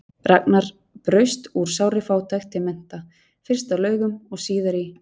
Ragnar braust úr sárri fátækt til mennta, fyrst á Laugum og síðar í